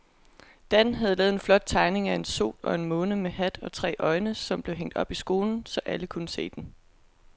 Dan havde lavet en flot tegning af en sol og en måne med hat og tre øjne, som blev hængt op i skolen, så alle kunne se den.